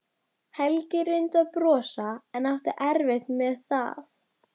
Helgi reyndi að brosa en átti erfitt með það.